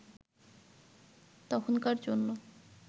তখনকার জন্য